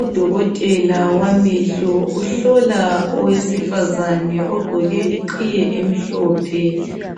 udokotela wamehlo uhlola owesifazane ogqke iqhiye emhlophe